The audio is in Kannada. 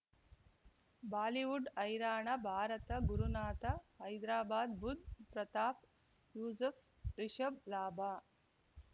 ಬಾಲಿವುಡ್ ಹೈರಾಣ ಭಾರತ ಗುರುನಾಥ ಹೈದ್ರಾಬಾದ್ ಬುಧ್ ಪ್ರತಾಪ್ ಯೂಸುಫ್ ರಿಷಬ್ ಲಾಭ